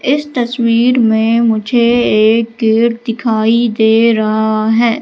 इस तस्वीर में मुझे एक गेट दिखाई दे रहा है।